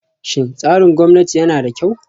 Shin tsarin gwamnati yana da kyau?